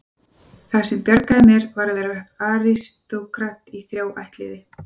Það sem bjargar mér er að vera aristókrat í þrjá ættliði.